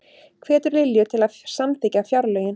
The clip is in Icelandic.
Hvetur Lilju til að samþykkja fjárlögin